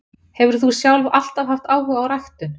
Hefur þú sjálf alltaf haft áhuga á ræktun?